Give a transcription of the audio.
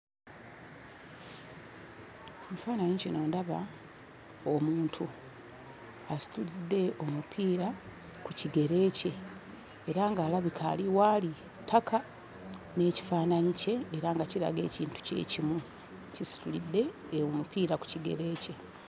Ekifaananyi kino ndaba omuntu asitudde omupiira ku kigere kye era ng'alabika ali w'ali ttaka n'ekifaananyi kye era nga kiraga ekintu kye kimu, kisitulidde omupiira ku kigere kye.